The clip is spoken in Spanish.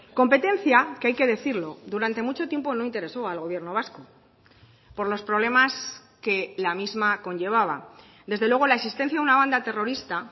competencia que hay que decirlo durante mucho tiempo no intereso al gobierno vasco por los problemas que la misma conllevaba desde luego la existencia de una banda terrorista